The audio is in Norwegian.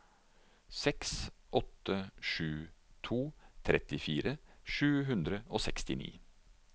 seks åtte sju to trettifire sju hundre og sekstini